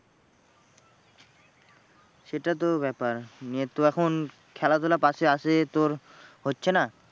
সেটা তো ব্যাপার নিয়ে তুই এখন খেলাধুলা তোর হচ্ছে না?